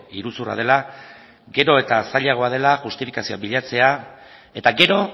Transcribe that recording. iruzurra dela gero eta zailagoa dela justifikazioa bilatzea eta gero